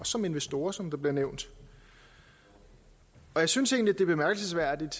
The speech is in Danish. som investorer som der bliver nævnt jeg synes egentlig bemærkelsesværdigt